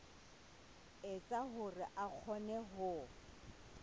etsa hore a kgone ho